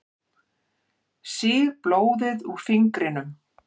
Sýg blóðið úr fingrinum.